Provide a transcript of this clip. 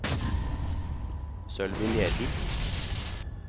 Sølvi Lervik